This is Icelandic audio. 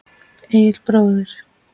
Egill bróðir.